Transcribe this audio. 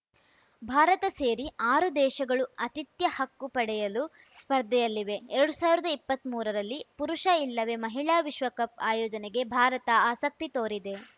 ಭಾರತ ಸೇರಿ ಆರು ದೇಶಗಳು ಆತಿಥ್ಯ ಹಕ್ಕು ಪಡೆಯಲು ಸ್ಪರ್ಧೆಯಲ್ಲಿವೆ ಎರಡು ಸಾವಿರದ ಇಪ್ಪತ್ಮೂರರಲ್ಲಿ ಪುರುಷ ಇಲ್ಲವೇ ಮಹಿಳಾ ವಿಶ್ವಕಪ್‌ ಆಯೋಜನೆಗೆ ಭಾರತ ಆಸಕ್ತಿ ತೋರಿದೆ